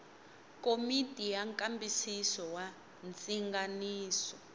komiti ya nkambisiso wa ndzinganiso